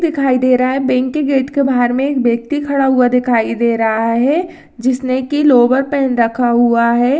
दिखाई दे रहा है बैंक गेट के बाहर में एक व्यक्ति खड़ा हुआ दिखाई दे रहा है जिसने की लोअर पहन रखा है।